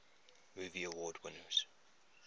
movie award winners